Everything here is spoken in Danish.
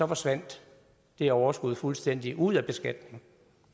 forsvandt det overskud fuldstændig ud af beskatningen